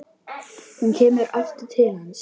Hún kemur aftur til hans.